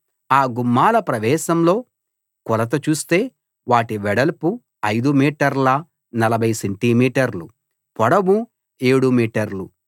ఆ గుమ్మాల ప్రవేశంలో కొలత చూస్తే వాటి వెడల్పు 5 మీటర్ల 40 సెంటి మీటర్లు పొడవు ఏడు మీటర్లు